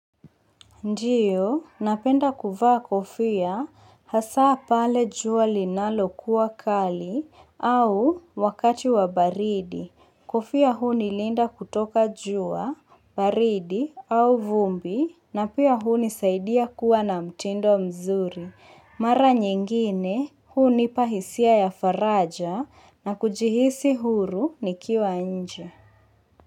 Ndio, napenda kuvaa kofia hasa pale jua linalokua kali au wakati wa baridi. Kofia hunilinda kutoka jua, baridi au vumbi na pia hunisaidia kuwa na mtindo mzuri. Mara nyingine hunipa hisia ya faraja na kujihisi huru nikiwa nje.